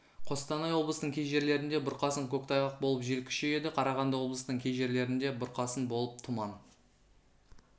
қостанай облысының кей жерлерінде бұрқасын көктайғақ болып жел күшейеді қарағанды облысының кей жерлерінде бұрқасын болып тұман